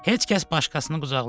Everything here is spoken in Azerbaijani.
Heç kəs başqasını qucaqlamır.